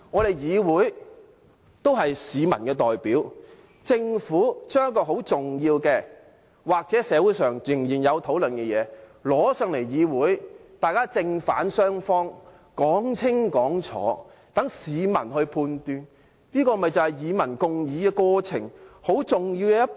立法會也是市民的代表，政府將一項很重要的，社會上仍然有討論的事情提交立法會，由正反雙方講清講楚，好讓市民作出判斷，這不就是與民共議的過程很重要的一步嗎？